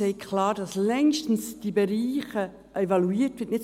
Sie sagt klar, dass diese Bereiche längstens evaluiert werden;